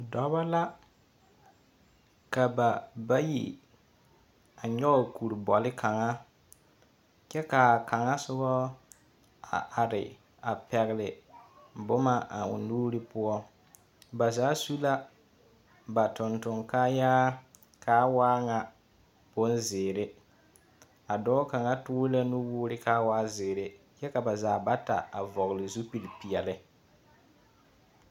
Dɔba la ka ba bayi nyɔge kuri bole kaŋa. Kyɛ kaa kaŋa sobo a are a pɛgle boma a o nuuri poɔ. Ba zaa su la ba tontoŋkaayaa kaa waa ŋa bonzeere. A dɔɔ kaŋa toore la nu woore kaa waa zeere, kyɛ ka ba zaa bata a vɔgle zupili peɛle.